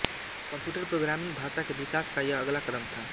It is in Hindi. कम्प्यूटर प्रोग्रामिंग भाषा के विकास का यह अगला कदम था